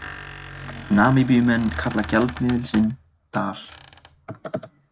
Namibíumenn kalla gjaldmiðil sinn dal.